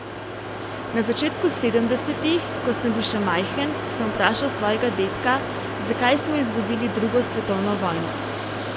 Na začetku sedemdesetih, ko sem bil še majhen, sem vprašal svojega dedka, zakaj smo izgubili drugo svetovno vojno.